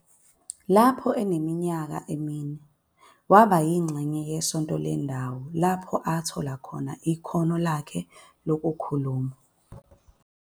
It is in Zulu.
Lapho eneminyaka emine, waba yingxenye yesonto lendawo lapho athola khona ikhono lakhe lokukhuluma.